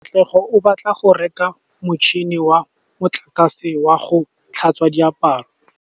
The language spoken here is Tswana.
Katlego o batla go reka motšhine wa motlakase wa go tlhatswa diaparo.